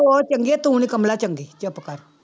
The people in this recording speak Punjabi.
ਉਹ ਚੰਗੀ ਆ ਤੂੰ ਨੀ ਕਮਲਾ ਚੰਗੀ, ਚੁੱਪ ਕਰ।